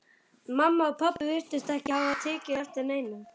Mamma og pabbi virtust ekki hafa tekið eftir neinu.